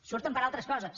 surten per altres coses